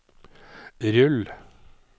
rull